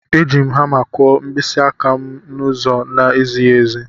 Eji m hama kụọ mkpịsị aka m n'ụzọ na-ezighị ezi